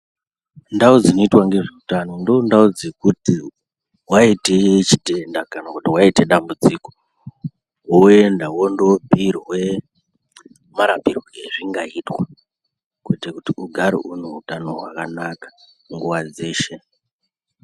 Ndau dzinoita nezveutano ndoondau dzekuti waite chitenda kana kuti waite dambudziko woenda wondoobhuirwe marapirwe ezvingaitwa kuite kuti ugare une utano hwakanaka nguwa dzeshe.